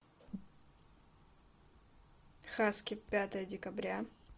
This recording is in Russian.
хаски пятое декабря